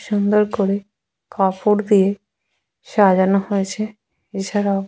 সুন্দর করে কাপড় দিয়ে সাজানো হয়েছে | এছাড়াও --